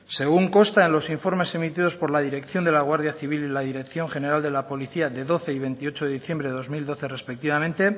según consta en los informes emitidos por la dirección de la guardia civil y la dirección general de la policía de doce y veintiocho de diciembre de dos mil doce respectivamente